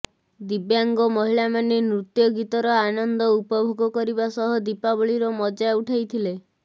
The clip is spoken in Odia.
ଦିବ୍ୟାଙ୍ଗ ମହିଳାମାନେ ନୃତ୍ୟ ଗୀତର ଆନନ୍ଦ ଉପଭୋଗ କରିବା ସହ ଦୀପାବଳିର ମଜା ଉଠାଇଥିଲେ